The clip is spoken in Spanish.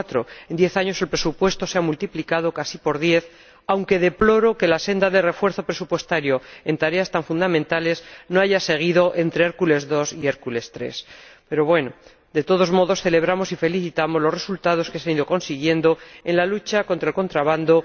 2004. En diez años, el presupuesto se ha multiplicado casi por diez, aunque deploro que la senda de refuerzo presupuestario, en tareas tan fundamentales, no haya continuado entre Hércules II y Hércules III. De todos modos celebramos y nos felicitamos de los resultados que se han ido consiguiendo en la lucha contra el contrabando